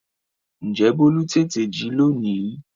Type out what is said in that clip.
Ǹjẹ́ bólú tètè jí lónìí?